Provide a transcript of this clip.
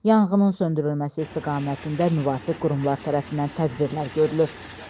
Yanğının söndürülməsi istiqamətində müvafiq qurumlar tərəfindən tədbirlər görülür.